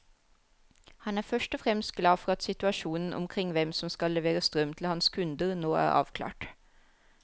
Han er først og fremst glad for at situasjonen omkring hvem som skal levere strøm til hans kunder, nå er avklart.